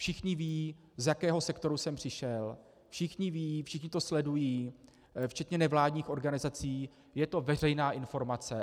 Všichni vědí, z jakého sektoru jsem přišel, všichni vědí, všichni to sledují včetně nevládních organizací, je to veřejná informace.